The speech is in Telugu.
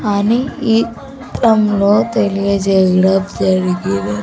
అని ఈ త్రంలో తెలియజేయడం జరిగిన--